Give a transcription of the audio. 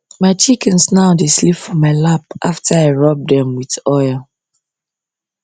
my chickens now dey sleep for my lap after i rub them with oil